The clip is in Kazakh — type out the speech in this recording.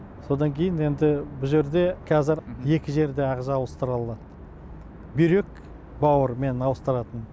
содан кейін енді бұл жерде қазір екі жерде ағза ауыстыра аламын бүйрек бауыр менің ауыстыратыным